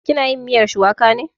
Ki na yin miyar shuwaka ne?